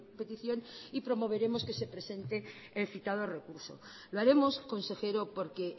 petición y promoveremos que se presente el citado recurso lo haremos consejero porque